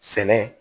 Sɛnɛ